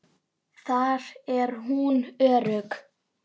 Þar er hún örugg.